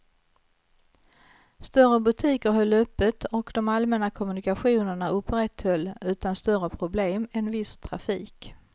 Större butiker höll öppet och de allmänna kommunikationerna upprätthöll utan större problem en viss trafik.